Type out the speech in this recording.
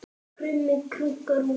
Krummi krunkar úti